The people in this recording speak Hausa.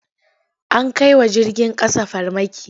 An kai wa jirgin ƙasa farmaki.